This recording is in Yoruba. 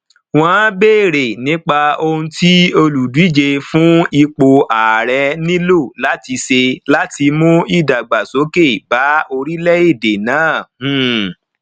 wọn béèrè nípa ohun tí olùdíje fún ipò ààrẹ nílò láti ṣe láti mú ìdàgbàsókè bá orílẹèdè náà um